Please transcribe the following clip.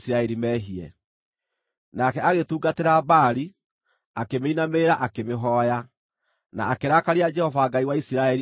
Nake agĩtungatĩra Baali, akĩmĩinamĩrĩra akĩmĩhooya, na akĩrakaria Jehova Ngai wa Isiraeli o ta ũrĩa ithe eekĩte.